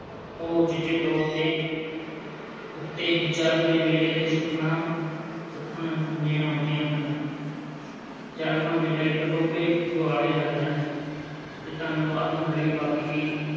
ਉਹ ਉਚੇਚੇ ਤੌਰ ਤੇ ਉੱਤੇ ਜਰਗ ਦੇ ਮੇਲੇ 'ਤੇ ਸੁੱਖਣਾ ਸੁੱਖਣ ਦੇਣ ਆਉਂਦੀਆਂ ਹਨ ਜਰਗ ਦਾ ਮੇਲਾ ਇੱਕ ਟੋਭੇ ਦੁਆਲੇ ਲੱਗਦਾ ਹੈ, ਤੇ ਧੰਨਵਾਦ ਹੁਣ ਲਈ ਬਾਕੀ ਦੀ